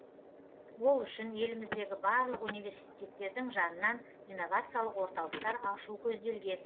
ол үшін еліміздегі барлық университеттердің жанынан инновациялық орталықтар ашу көзделген